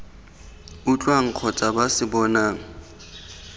utlwang kgotsa ba se bonang